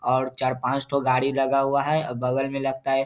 और चार पाँच ठो गाड़ी लगा हुआ है और बगल में लगता है --